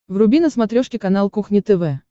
вруби на смотрешке канал кухня тв